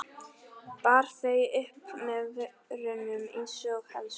Bar þau upp að vörunum einsog elskhuga.